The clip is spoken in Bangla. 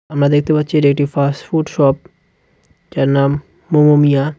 আমরা দেখতে পাচ্ছি এটা একটি ফাস্টফুড শপ যার নাম মোমোমিয়া.